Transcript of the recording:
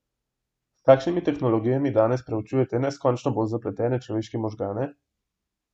S kakšnimi tehnologijami danes proučujete neskončno bolj zapletene človeške možgane?